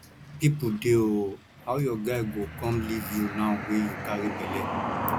people dey ooo how your guy go come leave you now wey you carry bele